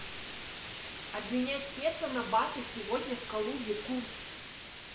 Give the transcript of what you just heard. обменять песо на баты сегодня в калуге курс